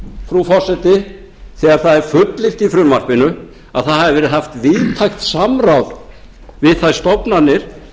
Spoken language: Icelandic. úr frú forseti þegar það er fullyrt í frumvarpinu að það hafi verið haft víðtækt samráð við þær stofnanir